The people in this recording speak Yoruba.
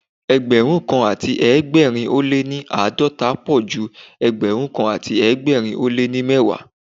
Ẹgbẹ̀rún kan àti ẹgbẹ̀rin ó lé ní àádọ́ta pọ̀ ju Ẹgbẹ̀rún kan àti ẹgbẹ̀rin ó lé ní mẹ́wàá.